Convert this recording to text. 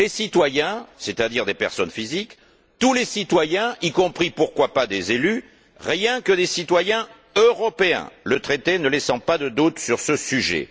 Les citoyens, c'est à dire des personnes physiques, tous les citoyens, y compris, pourquoi pas, des élus, mais rien que des citoyens européens, le traité ne laissant pas de doute sur ce sujet.